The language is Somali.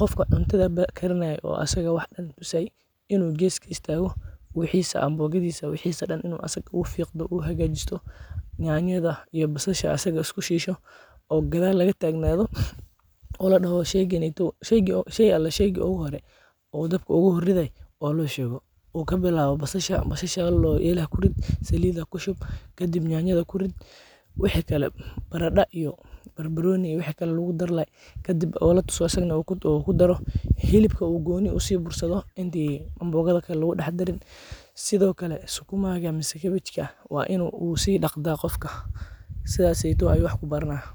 qofka cuntaada karinaye oo asaga wax tusaye in u gees u istago, wixisa ambogadisaa wixisa dan in u isaga fiqdo u hagajisto, nyanyada iyo basashaa isku shilo, oo gadal laga tagnado, marki u horee oo ladaho sheyga ale sheyga ogu horee oo dabka ogu hor ridhayo waa in lo shego, u kabilawo basashaa, basashaa layirahdo elaha kuriid, saliida ku shub, kadiib nyanyaada kuriid, wixi kale baraada iyo, bar baroni iyo, wixi kalo lagu dari lahay kadiib oo latuso oo asagana u ku daro, hilibka u goni usi bursaadho, inti anbogaada kale lagu dax darin, sithokale sukuma ga ama cabbej ka in u si daqdaa qafka, sithas eto ayu wax kubartaa.